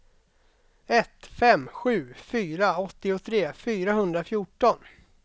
ett fem sju fyra åttiotre fyrahundrafjorton